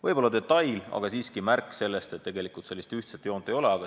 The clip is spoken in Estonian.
Võib-olla on see detail, aga siiski märk sellest, et tegelikult siin ühtset joont ei ole.